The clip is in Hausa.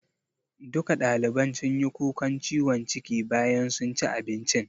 Duka ɗaliban sunyi kukan ciwon ciki bayan sun ci abincin